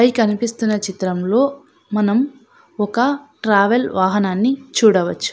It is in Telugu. పై కనిపిస్తున్న చిత్రంలో మనం ఒక ట్రావెల్ వాహనాన్ని చూడవచ్చు.